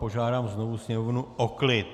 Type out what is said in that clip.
Požádám znovu sněmovnu o klid!